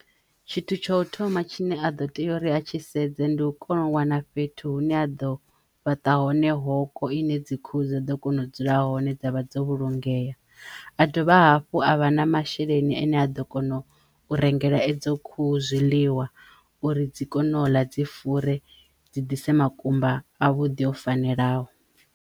Tshithu tsho thoma tshine a ḓo teya uri a tshi sedza ndi u kona u wana fhethu hune a ḓo fhaṱa hone hoko i ne dzi khuhu dza ḓo kona u dzula hone dza vha dzo vhulungeya a dovha hafhu a vha na masheleni ane a ḓo kono u rengela edzo khuhu zwiḽiwa uri dzi kono ḽa dzi fure dzi ḓise makumba a vhuḓi o fanelaho.